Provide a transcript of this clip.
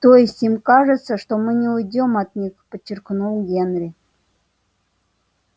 то есть им кажется что мы не уйдём от них подчеркнул генри